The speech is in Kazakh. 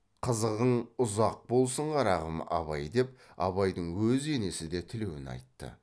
қызығың ұзақ болсын қарағым абай деп абайдың өз енесі де тілеуін айтты